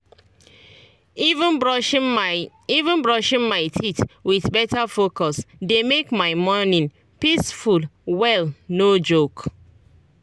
even brushing my even brushing my teeth with better focus dey make my morning peaceful well no joke.